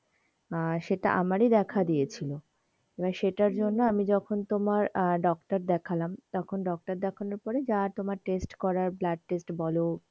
আর সেইটা আমারি দেখা দিয়েছিলো এইবার সেইটার জন্যে আমি যখন তোমার আহ ডাক্তার দেখালাম তখন ডাক্তার দেখানোর পরে যা তোমার test করার blood test বলো,